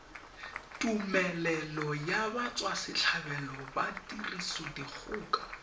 tumelelo ya batswasetlhabelo ba tirisodikgoka